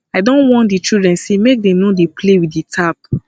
i don warn di children sey make dem no dey play with di tap